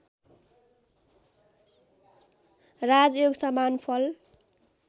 राजयोगसमान फल